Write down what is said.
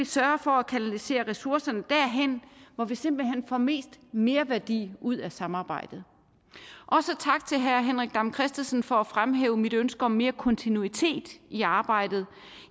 sørge for at kanalisere ressourcerne derhen hvor vi simpelt hen får mest merværdi ud af samarbejdet også tak til herre henrik dam kristensen for at fremhæve mit ønske om mere kontinuitet i arbejdet